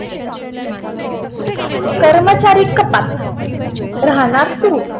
कर्मचारी कपात. राहणार् तू.